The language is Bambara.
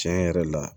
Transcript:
Tiɲɛ yɛrɛ la